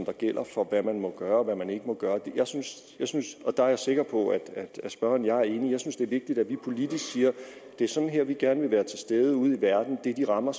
der gælder for hvad man må gøre og hvad man ikke må gøre der er jeg sikker på at spørgeren og jeg er enige jeg synes det er vigtigt at vi politisk siger at det er sådan her vi gerne vil være til stede ude i verden det er de rammer